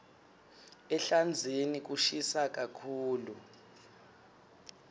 ehlandzeni kushisa kakhulu